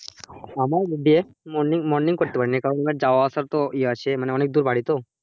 আমার day, morning morning করতে পারিনি কারণ আমার যাওয়া আসার তো এ আছে মনে অনেক দূর বাড়ি তো,